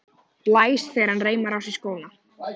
Blæs þegar hann reimar á sig skóna.